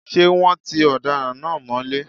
Ṣé wọ́́n ti ọ̀daràn náà mọ́lé?